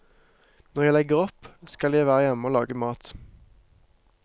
Når jeg legger opp, skal jeg være hjemme og lage mat.